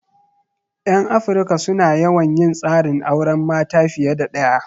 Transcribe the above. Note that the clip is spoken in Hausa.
'Yan Afirika su na yawan yin tsarin auren mata fiye da ɗaya.